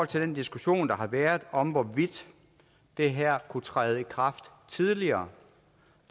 til den diskussion der har været om hvorvidt det her kunne træde i kraft tidligere